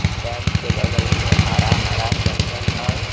Dam के बगल में हरा-हरा जंगल है।